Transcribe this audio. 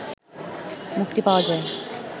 মুক্তি পাওয়া যায়